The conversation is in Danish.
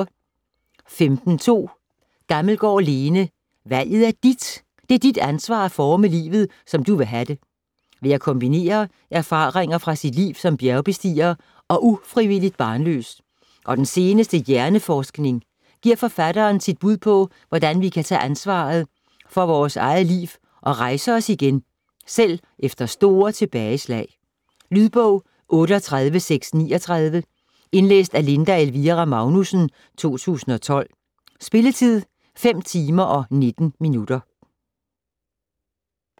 15.2 Gammelgaard, Lene: Valget er dit!: det er dit ansvar at forme livet, som du vil have det Ved at kombinere erfaringer fra sit liv som bjergbestiger og ufrivilligt barnløs og den seneste hjerneforskning giver forfatteren sit bud på, hvordan vi kan tage ansvaret for vores eget liv og rejse os igen, selv efter store tilbageslag. Lydbog 38639 Indlæst af Linda Elvira Magnussen, 2012. Spilletid: 5 timer, 19 minutter.